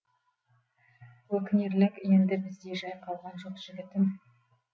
өкінерлік енді бізде жай қалған жоқ жігітім